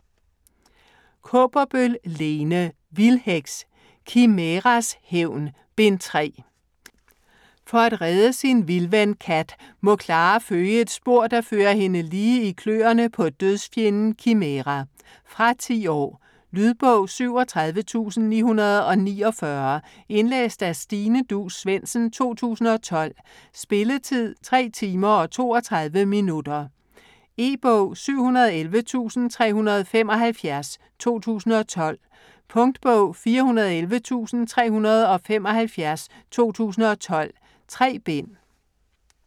Kaaberbøl, Lene: Vildheks: Kimæras hævn: Bind 3 For at redde sin vildven Kat, må Clara følge et spor, der fører hende lige i kløerne på dødsfjenden Kimæra. Fra 10 år. Lydbog 37949 Indlæst af Stine Duus Svendsen, 2012. Spilletid: 3 timer, 32 minutter. E-bog 711375 2012. Punktbog 411375 2012. 3 bind.